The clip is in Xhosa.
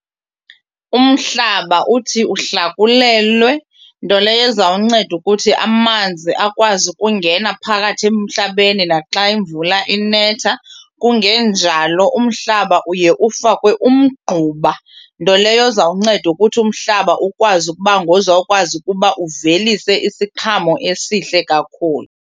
Umhlaba uthi uhlakulelwe nto leyo ezawunceda ukuthi amanzi akwazi ukungena phakathi emhlabeni naxa imvula inetha. Kungenjalo umhlaba uye ufakwe umgquba nto leyo ezawunceda ukuthi umhlaba ukwazi ukuba ngozawukwazi ukuba uvelise isiqhamo esihle kakhulu.